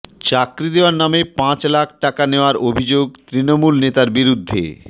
চাকরি দেওয়ার নামে পাঁচ লাখ টাকা নেওয়ার অভিযোগ তৃণমূল নেতার বিরুদ্ধে